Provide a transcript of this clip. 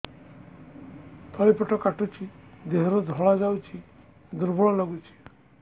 ତଳି ପେଟ କାଟୁଚି ଦେହରୁ ଧଳା ଯାଉଛି ଦୁର୍ବଳ ଲାଗୁଛି